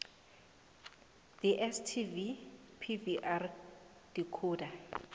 dstv pvr decoder